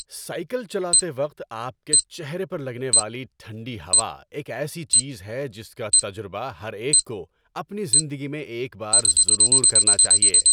Cycle چلاتے وقت آپ کے چہرے پر لگنے والی ٹھنڈی ہوا ایک ایسی چیز ہے جس کا تجربہ ہر ایک کو اپنی زندگی میں ایک بار ضرور کرنا چاہیے۔